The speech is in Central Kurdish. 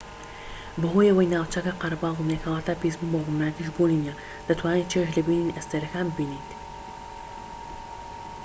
بەهۆی ئەوەی ناوچەکە قەرەباڵغ نیە کەواتە پیسبوون بە ڕووناکیش بوونی نیە دەتوانیت چێژ لە بینینی ئەستێرەکان ببینیت